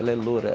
Ela é loira.